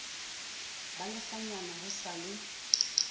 ba lekganyane ho sa le